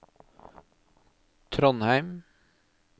Trondheim